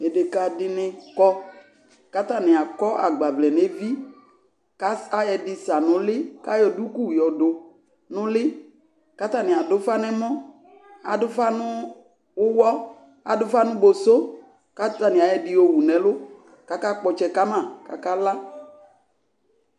deka di ni kɔ ko atani akɔ agbavlɛ no evi ko ayɔ ɛdi sa no uli ko ayɔ duku yɔ do no uli ko atani ado ufa no ɛmɔ ado ufa no uwɔ ado ufa no boso ko atani ayɔ ɛdi yo wu no ɛlò ko akakpɔ ɔtsɛ ka ma ko aka la